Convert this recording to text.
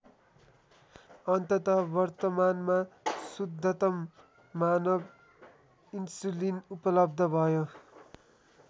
अन्ततः वर्तमानमा शुद्धतम मानव इन्सुलिन उपलब्ध भयो।